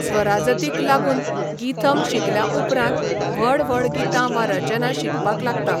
स्वराजतीक लागून गीथम शिकल्या उपरांत व्हड व्हड गितां वा रचना शिकपाक लागता.